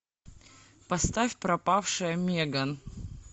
поставь пропавшая меган